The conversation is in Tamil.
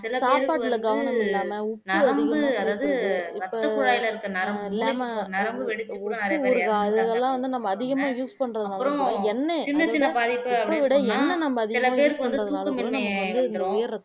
சாப்பாட்டுல கவனம் இல்லாம உப்பு அதிகமா சேத்தறது இப்ப அது இல்லாம உப்பு ஊறுகா அதெல்லாம் வந்து நம்ம அதிகமா use பண்றதுனாலகூட எண்ணெய் அதோட உப்புவிட எண்ணெய் நம்ப அதிகமா use பண்றதுனாலகூட நமக்கு வந்து இந்த உயர் ரத்த அழுத்தம்